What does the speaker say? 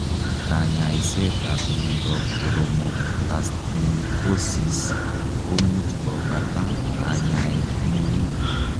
Kanyaiseet ap miondoop koromoplastimikosis komuch kopata kanyaet neu